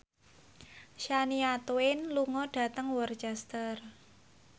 Shania Twain lunga dhateng Worcester